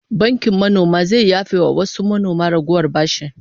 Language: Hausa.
Bankin manoma zai yafe wa wasu manoma ragowar bashi